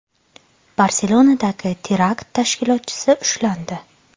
Barselonadagi terakt tashkilotchisi ushlandi.